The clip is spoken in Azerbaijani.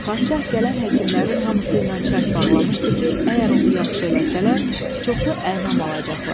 Padşah gələn həkimlərin hamısı ilə şərt bağlamışdı ki, əgər onu yaxşı eləsələr, çoxlu ənam alacaqlar.